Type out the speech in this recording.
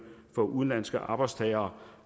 for udenlandske arbejdstagere